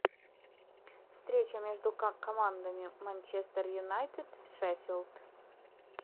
встреча между командами манчестер юнайтед шеффилд